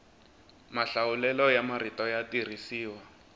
mahlawulelo ya marito ya tirhisiwa